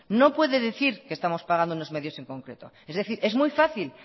no puede decir que estamos pagando unos medios en concreto es decir es muy fácil